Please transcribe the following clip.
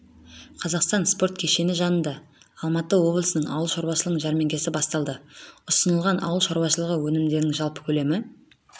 қазақстан спорт кешені жанында алматы облысының ауыл шаруашылығы жәрмеңкесі басталды ұсынылған ауыл шаруашылығы өнімдерінің жалпы көлемі